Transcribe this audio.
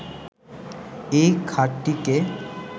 এই খাতটিকে